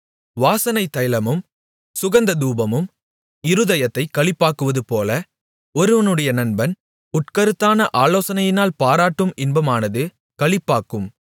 வாசனைத் தைலமும் சுகந்ததூபமும் இருதயத்தைக் களிப்பாக்குவதுபோல ஒருவனுடைய நண்பன் உட்கருத்தான ஆலோசனையினால் பாராட்டும் இன்பமானது களிப்பாக்கும்